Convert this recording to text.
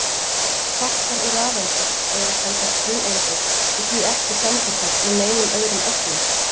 Kvarkar og rafeindir eru sem sagt grunneindir og því ekki samsettar úr neinum öðrum ögnum.